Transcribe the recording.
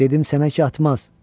Dedim sənə ki atmaz.